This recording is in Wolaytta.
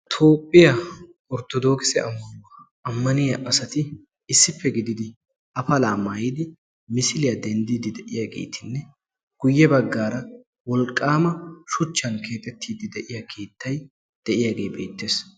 Toophphiya orttodoogise ammanuwa ammaniyaa asati issippe gididi afalaa maayidi misiliyaa denddiiddi de"iyaageetinne guyye baggaara wolqqaama shuchchan keexettiiddi de"iyaa keettay de"iyaagee beettees.